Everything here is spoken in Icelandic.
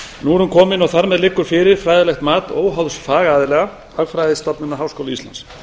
nú er hún komin og þar með liggur fyrir fræðilegt mat óháðs fagaðila hagfræðistofnunar háskóla íslands